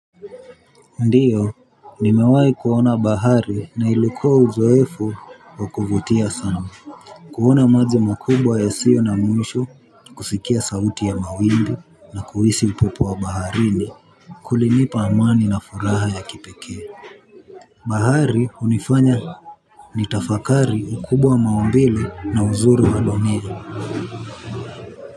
Ndiyo nimewai kuona bahari na ilikuwa uzoefu wa kuvutia sana. Kuona maji makubwa yasiyo na mwisho kusikia sauti ya mawimbi na kuhisi upepo wa baharini kulinipa amani na furaha ya kipekee. Bahari hunifanya nitafakari ukubwa wa maumbile na uzuri wadonee.